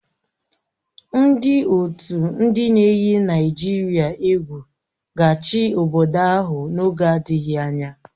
Ndị otu ndị na-eyi Naịjirịa egwu ga-achị obodo ahụ n'oge adịghị anya